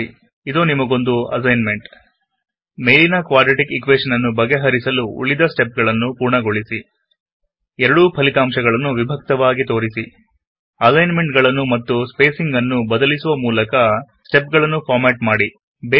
ಸರಿಇದೋ ನಿಮಗಂದು assignment ಮೇಲಿನ quadratic equation ನ್ನು ಪೂರ್ಣಗೊಳಿಸಲು ಬೇಕಾದ ಉಳಿದ ಸ್ಟೆಪ್ ಗಳನ್ನು ಬರೆಯಿರಿ ಎರಡೂ ಉತ್ತರಗಳನ್ನು ವಿಭಕ್ತವಾಗಿ ತೋರಿಸಿ ಅಲೈನ್ ಮೆಂಟ್ಗಳನ್ನು ಮತ್ತು ಸ್ಪೇಸಿಂಗ್ ನ್ನು ಬದಲಿಸುವ ಮೂಲಕ ಸ್ಟೆಪ್ ಗಳನ್ನು ಫಾರ್ಮ್ಯಾಟ್ ಮಾಡಿ